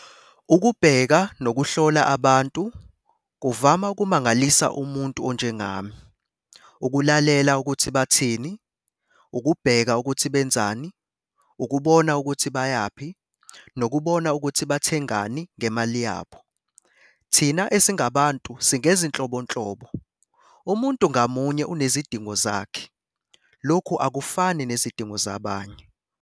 Ukubheka nokuhlola abantu kuvama ukumangalisa umuntu onjengami - ukulalela ukuthi bathini, ukubheka ukuthi benzani, ukubona ukuthi bayaphi nokubona ukuthi bathengani ngemali yabo. Thina esingabantu singezinhlobonhlobo, umuntu ngamunye unezidingo zakhe, lokhu akufani nezidingo zabanye.